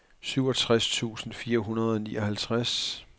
syvogtres tusind fire hundrede og nioghalvtreds